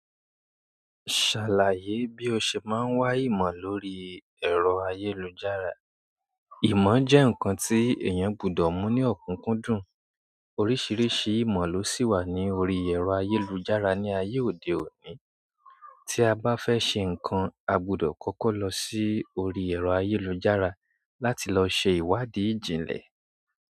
Ṣàlàyé bí o ṣe máa ń wá ìmọ̀ lórí ẹ̀rọ ayélujára. Ìmọ̀ jẹ́ nǹkan tí èèyàn gbọdọ̀ mú ní ọ̀kúnkúndùn. Oríṣiríṣi ìmọ̀ ló sì wà ní orí ẹ̀rọ ayélujára ní ayé òde òní. Tí a bá fẹ́ ṣe nǹkan, a gbọdọ̀ kọ́kọ́ lọ sí orí ẹ̀rọ ayélujára láti lọ ṣe ìwádìí ìjìnlẹ̀.